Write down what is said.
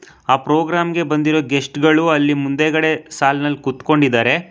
ಆ ಪ್ರೋಗ್ರಾಂ ಗೆ ಬಂದಿರೋ ಗೆಸ್ಟ್ ಗಳು ಅಲ್ಲಿ ಮುಂದೆಗಡೆ ಸಾಲಿನಲ್ ಕುತ್ಕೊಂಡಿದಾರೆ.